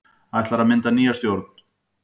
Ætlað að mynda nýja stjórn